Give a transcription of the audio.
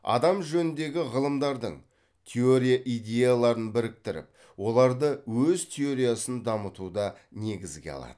адам жөніндегі ғылымдардың теория идеяларын біріктіріп оларды өз теориясын дамытуда негізге алады